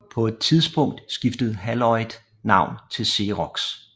På et tidspunkt skiftede Haloid navn til Xerox